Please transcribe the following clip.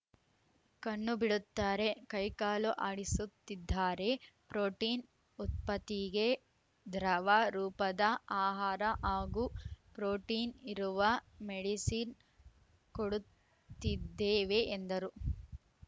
ಕಣ್ಣು ಬಿಡುತ್ತಾರೆ ಕೈ ಕಾಲು ಆಡಿಸುತ್ತಿದ್ದಾರೆ ಪ್ರೋಟಿನ್‌ ಉತ್ಪತೀಗೆ ದ್ರವ ರೂಪದ ಆಹಾರ ಹಾಗೂ ಪ್ರೋಟಿನ್‌ ಇರುವ ಮೆಡಿಸಿನ್‌ ಕೊಡುತ್ತಿದ್ದೇವೆ ಎಂದರು